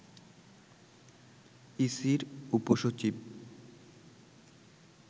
ইসির উপ সচিব